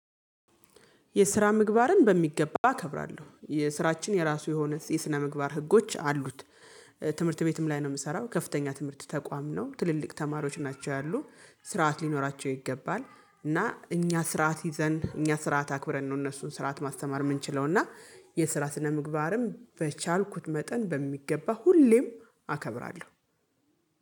የስራ ምግባርን በሚገባ አከብራለሁ የስራችን የራሱ የሆነ የስነ ምግባር ህጎች አሉት። ትምህርት ቤትም ላይ ነው የምሰራው ከፍተኛ ትምህርት ተቋም ነው ትልልቅ ተማሪዎች ናቸው። ያሉ ስርዓት ሊኖራቸው ይገባል። እና እኛ ስርዓት ይዘን እኛ ስርዓት አክብረን ነው እነሱን ስርዓት ማስተማር የምንችለው። እና የስራ ስነምግባርም በቻልኩት መጠን በሚገባ ሁሌም አከብራለሁ